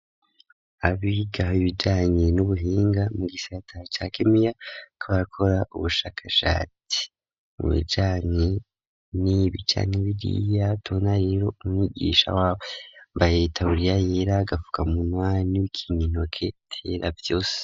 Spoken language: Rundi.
Abiga ibijanye n'ubuhinga mu gisataa ca kemiya, barakora ubushakashati mu bijanye n'ibi canke biliya, tubona rero umwigisha waboyambaye itaburiya yera, Agafuka munwa, Nibikingitoke vyera vyose.